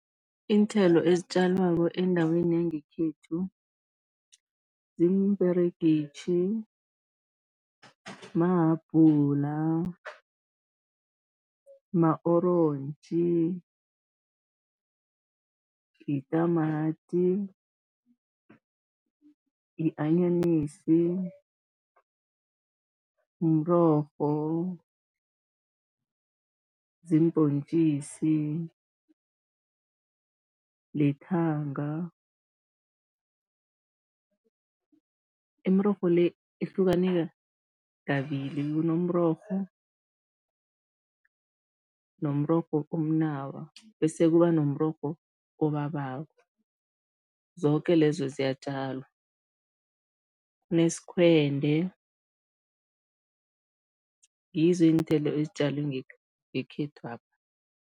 Iinthelo ezitjalwako endaweni yangekhethu, ziimperegitjhi, mahabhula, ma-orontji, yitamati, yi-anyanisi, mrorho, ziimbhontjisi, lithanga. Imirorho le ihlukane kabili, kunomrorho nomrorho omnawa bese kuba nomrorho obabako, zoke lezo ziyatjalwa, kunesikhwende, ngizo iinthelo ezitjalwe ngekhethwapha.